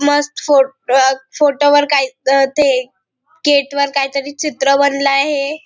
मस्त photo photo वर काहीतरी ते गेटवर काहीतरी चित्र बनल आहे.